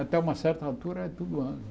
Até uma certa altura, era tudo água.